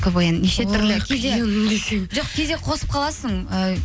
квн неше түрлі кейде жоқ кейде қосылып қаласың